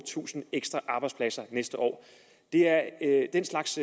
tusind ekstra arbejdspladser næste år det er den slags